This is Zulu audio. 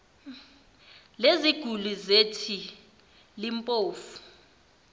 leziguli zethi limpofu